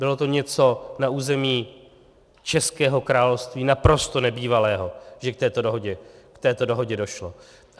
Bylo to něco na území českého království naprosto nebývalého, že k této dohodě došlo.